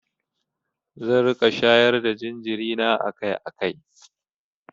Zan riƙa shayar da jinjiri na akai-akai.